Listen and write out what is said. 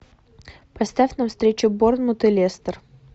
поставь нам встречу борнмут и лестер